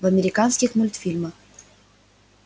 в американских мульфильмах